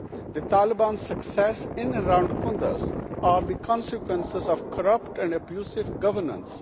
The Taliban successes in and around Kunduz are the consequences of corrupt and abusive governance.